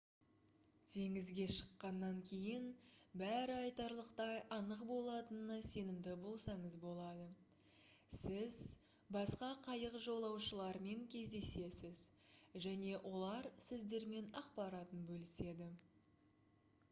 теңізге шыққаннан кейін бәрі айтарлықтай анық болатынына сенімді болсаңыз болады сіз басқа қайық жолаушыларымен кездесесіз және олар сіздермен ақпаратын бөліседі